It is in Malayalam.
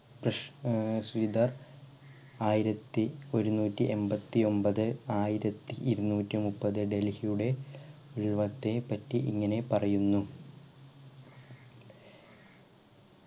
ശ് ഏർ ശ്രീധർ ആയിരത്തി ഒരുനൂറ്റി എമ്പത്തി ഒമ്പത് ആയിരത്തി ഇരുനൂറ്റി മുപ്പത് ഡൽഹിയുടെ രൂപത്തെ പറ്റി ഇങ്ങനെ പറയുന്നു.